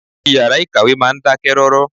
Ìyàrá ìkàwé máa ń dákẹ́ rọ́rọ́.